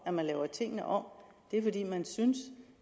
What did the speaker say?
at man laver tingene om at man synes